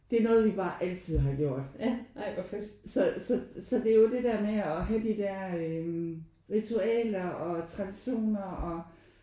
Det er noget vi bare altid har gjort så så så det er jo det der med at have de der øh ritualer og traditioner og